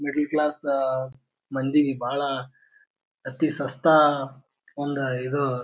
middle class ಅ ಮಂದಿ ಬಹಳ ಅತಿ ಸಸ್ತಾ ಒಂದ್ ಇದು--